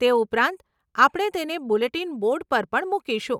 તે ઉપરાંત, આપણે તેને બુલેટીન બોર્ડ પર પણ મુકીશું.